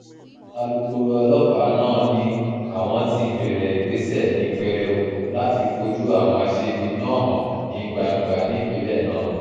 alūkkóró ọlọ́pàá náà ni àwọn ti um bẹ̀rẹ̀ ìgbésẹ̀ ní pẹrẹu láti um fojú àwọn aṣebi náà hàn sí gbangba nípìnlẹ̀ náà